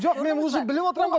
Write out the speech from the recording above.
жоқ мен уже біліп отырмын ғой